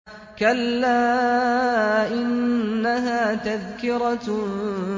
كَلَّا إِنَّهَا تَذْكِرَةٌ